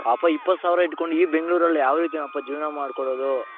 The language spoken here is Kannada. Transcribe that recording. ಅಪ್ಪ ಇಪತ್ತು ಸಾವಿರ ಇಟ್ಕೊಂಡು ಈ ಬೆಂಗಳೂರಲ್ಲಿ ಯಾವ್ ರೀತಿನಪ್ಪ ಜೀವನ ಮಾಡಿಕೊಳ್ಳೋದು .